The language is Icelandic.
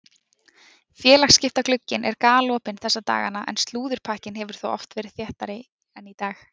Félagsskiptaglugginn er galopinn þessa dagana en slúðurpakkinn hefur þó oft verið þéttari en í dag.